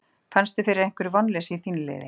Fannstu fyrir einhverju vonleysi í þínu liði?